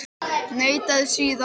Neitaði síðan.